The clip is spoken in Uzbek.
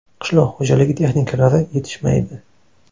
Qishloq xo‘jaligi texnikalari yetishmaydi.